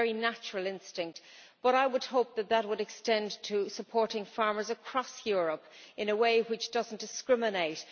That is a very natural instinct, but I would hope that would extend to supporting farmers across Europe in a way which does not discriminate.